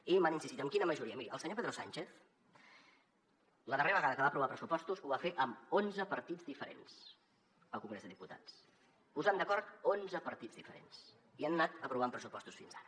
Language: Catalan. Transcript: i m’han insistit amb quina majoria miri el senyor pedro sánchez la darrera vegada que va aprovar pressupostos ho va fer amb onze partits diferents al congrés dels diputats posant d’acord onze partits diferents i han anat aprovant pressupostos fins ara